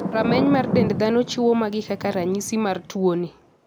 Rameny mar dend dhano chiwo magi kaka ranyisi mar tuo ni.